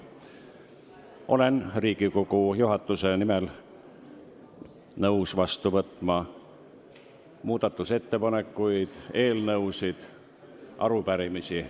Olen Riigikogu juhatuse nimel nõus vastu võtma muudatusettepanekuid, eelnõusid, arupärimisi.